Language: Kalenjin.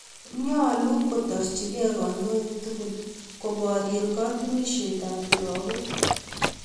Nyalu kotoorchikei kandoi tukul koporye katunisyet ap lagok